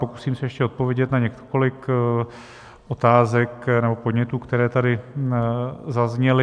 Pokusím se ještě odpovědět na několik otázek nebo podnětů, které tady zazněly.